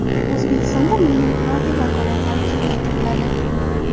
O‘zbekistonda Milliy gvardiya vakolatlari kengaytiriladi.